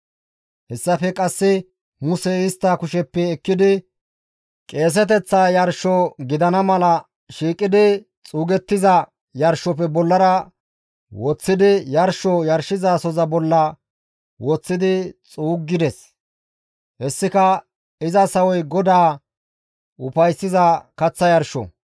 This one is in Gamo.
Hessafe qasse Musey istta kusheppe ekkidi qeeseteththa yarsho gidana mala shiiqidi xuugettiza yarshofe bollara woththidi yarsho yarshizasoza bolla woththidi xuuggides; hessika iza sawoy GODAA ufayssiza kaththa yarsho.